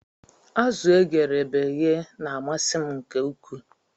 Azu egere beghe na amasi m nke ukwuu